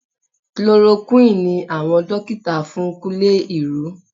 Chloroquine ni àwọn dókítà fún Kúnlé irú